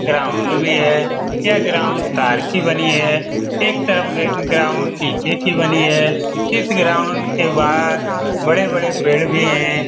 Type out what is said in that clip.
ground भी है यहा ग्राउंड तार की बनी है एक तरफ ग्राउंड नीचे की बनी है इस ग्राउंड के बहार बड़े बड़े पेड़ भी है |